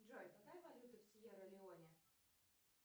джой какая валюта в сьерра леоне